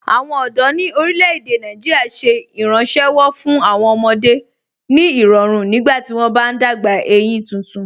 Awọn ọdọ ni orílẹ̀-èdè Nàìjíríà ṣẹ̀ ìrànṣéwọ́ fún awọn ọmọdé ni irọ̀run nígbàtí wọn bá n dágbà eyín tuntun.